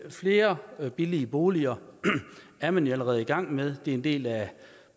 flere billige boliger er man jo allerede i gang med det er en del af